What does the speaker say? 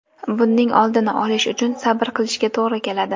Buning oldini olish uchun sabr qilishga to‘g‘ri keladi.